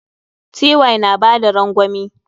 Ty na bada rangwami.